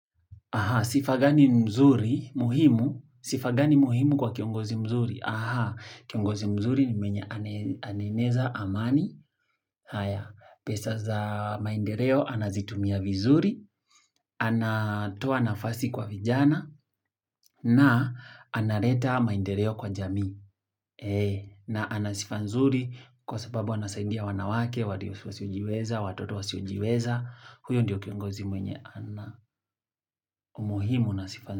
Aha, sifa gani mzuri muhimu? Sifa gani muhimu kwa kiongozi mzuri? Aha, kiongozi mzuri ni mwenye ane anaeneza amani, pesa za maendeleo anazitumia vizuri, anatoa nafasi kwa vijana, na analeta maendeleo kwa jamii. Eee, na ana sifa nzuri kwa sababu anasaidia wanawake walio wasiojiweza, watoto wasiojiweza, huyo ndio kiongozi mwenye ana umuhimu na sifa.